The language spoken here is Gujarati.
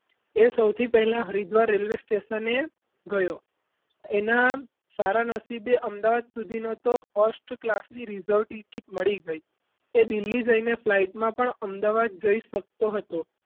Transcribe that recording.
એ સૌથી પહેલા હરિદ્વાર railway station ગયો તેના સારા નસીબે તો અમદાવાદ સુધીનો first class ની reserve ticket મળી ગઈ તે દિલ્હી જઈને flight માં અમદાવાદ જઈ શકતો હતો.